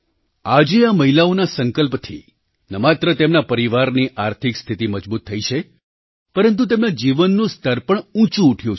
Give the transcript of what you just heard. આજે આ મહિલાઓના સંકલ્પથી ન માત્ર તેમના પરિવારની આર્થિક સ્થિતિ મજબૂત થઈ છે પરંતુ તેમના જીવનનું સ્તર પણ ઊંચું ઉઠ્યું છે